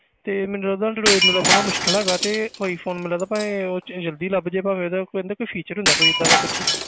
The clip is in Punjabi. ਤੇ ਮੈਨੂੰ ਲੱਗਦਾ android ਨੂੰ ਲੱਭਣਾ ਮੁਸ਼ਕਲ ਹੈਗਾ ਤੇ iphone ਮੈਨੂੰ ਲੱਗਦਾ ਇਹ ਉਹ 'ਚ ਜ਼ਲਦੀ ਲੱਭ ਜਾਏਗਾ ਇਹਦਾ ਕੋਈ ਨਾ ਕੋਈ feature ਹੁੰਦਾ ਕੋਈ ਏਦਾਂ ਦਾ ਕੁਛ।